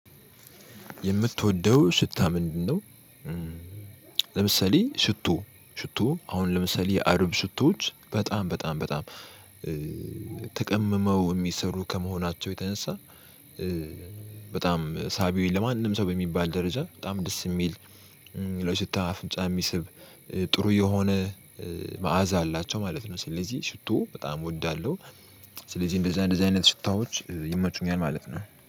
የምትወደው ሽታ ምንድነው? ለምሳሌ ሽቶ ሽቶ አሁን ለምሳሌ የአረብ ሽቶዎች በጣም በጣም በጣም ተቀምመው የሚሰሩ ከመሆናቸው የተነሳ በጣም ሳቢ ለማንም ሰው በሚባል ደረጃ በጣም ደስ የሚል ሽታ አፍንጫ የሚስብ ጥሩ የሆነ መዓዛ አላቸው ማለት ነው። ስለዚህ ሽቶ በጣም እወዳለሁ። ስለዚህ እንደዛ እንደዛ አይነት ሽታዎች ይመቹኛል ማለት ነው